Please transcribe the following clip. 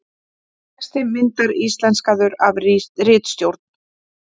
Texti myndar íslenskaður af ritstjórn.